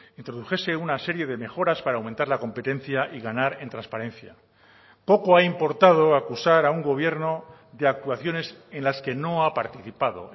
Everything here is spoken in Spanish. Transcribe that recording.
introdujese una serie de mejoras para aumentar la competencia y ganar en transparencia poco ha importado acusar a un gobierno de actuaciones en las que no ha participado